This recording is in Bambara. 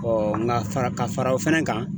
nka fara ka fara o fana kan